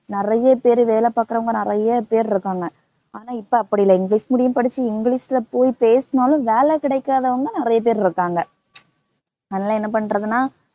நிறைய பேர் வேலை பாக்கறவங்க நிறைய பேர் இருக்காங்க. ஆனா இப்ப அப்படி இல்ல இங்கிலிஷ் medium படிச்சு இங்கிலிஷ்ல போய் பேசினாலும் வேலை கிடைக்காதவங்க நெறைய பேர் இருக்காங்க.